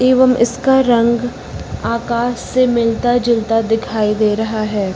एवं इसका रंग आकाश से मिलता जुलता दिखाई दे रहा है।